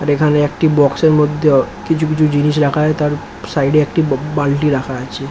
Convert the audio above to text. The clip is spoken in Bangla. আর এখানে একটি বাক্স - এর মধ্যে কিছু কিছু জিনিস রাখা আছে তার সাইড -এ একটি বালতি রাখা আছে ।